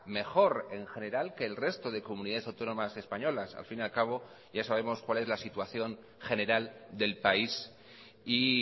mejor en general que el resto de comunidades autónomas españolas al fin y al cabo ya sabemos cual es la situación general del país y